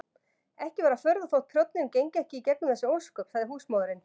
Ekki var að furða þótt prjónninn gengi ekki í gegnum þessi ósköp, sagði húsmóðirin.